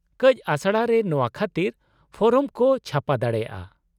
-ᱠᱟᱹᱪ ᱟᱥᱲᱟ ᱨᱮ ᱱᱚᱶᱟ ᱠᱷᱟᱹᱛᱤᱨ ᱯᱷᱚᱨᱚᱢ ᱠᱚ ᱪᱷᱟᱯᱟ ᱫᱟᱲᱮᱭᱟᱜᱼᱟ ᱾